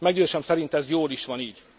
Meggyőződésem szerint ez jól is van így.